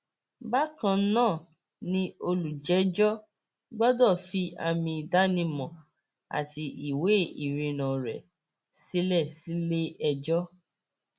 bákan náà ni olùjẹjọ gbọdọ fi àmì ìdánimọ àti ìwé ìrìnnà rẹ sílẹ síléẹjọ